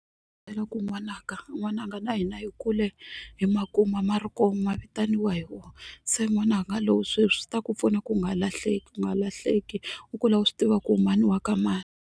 ku n'wananga n'wananga na hina hi kule hi makuma ma ri kona ma vitaniwa hi wona se n'wana nga sweswi swi ta ku pfuna ku u nga lahleki u nga lahleki u kula u swi tiva ku u mani wa ka mani.